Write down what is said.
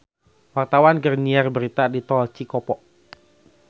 Wartawan keur nyiar berita di Tol Cikopo